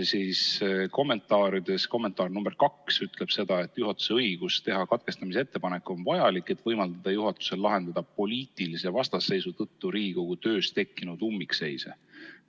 Selle sätte kommentaar nr 2 ütleb nii: "Juhatuse õigus teha katkestamise ettepanek on vajalik, et võimaldada juhatusel lahendada poliitilise vastasseisu tõttu Riigikogu töös tekkinud ummikseise.